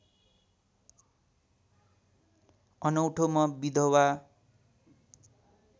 अनौठो म विधवा